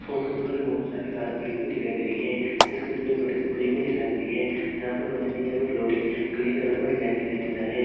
Photo में मुझे बहुत सारी कार दिखाई दे रही है। जिसके पीछे बड़ी सी बुल्डिंग ]